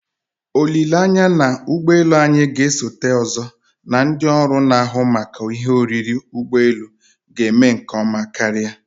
Olileanya na ụgbọ elu anyị na-esote ozo na ndị ọrụ na-ahụ maka ihe oriri ụgbọ elu ga-eme nke ọma karia